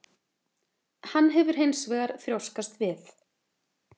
Hann hefur hins vegar þrjóskast við